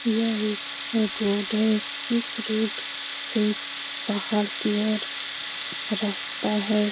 यह एक रोड है। इस रोड से पहाड़ की ओर रास्ता है।